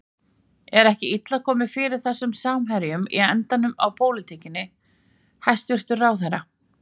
Er ekki illa komið fyrir þessum samherjum í endanum á pólitíkinni, hæstvirtur ráðherra?